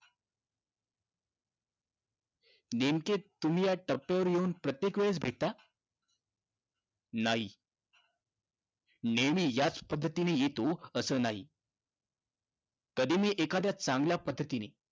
नेमके तुम्ही या टप्प्यावर येऊन प्रत्येकवेळेस भेटता? नाही. नेहमी याच पद्धतीने येतो असं नाही. कधी मी एखाद्या चांगल्या पध्दतीनी